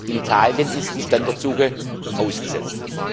In Italien ist die Standortsuche ausgesetzt.